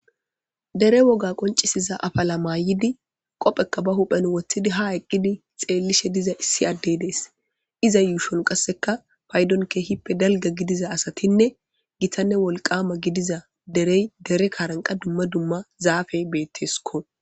Dere woga qoncisiza afala mayidi, be huphen qoofe woththidi haa eqqidi xeellishe diza issi addey dees. Iza yuushon paydon keehippe dalga gidiza asatinne gitanne wolqama gidiza derey dere kaaran qas dumma dumma zaafey beeteesiko.